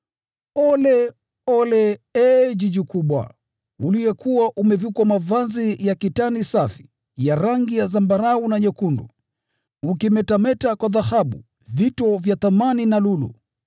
“ ‘Ole! Ole, ee mji mkubwa, uliyekuwa umevikwa mavazi ya kitani safi, ya rangi ya zambarau na nyekundu, ukimetameta kwa dhahabu, vito vya thamani na lulu!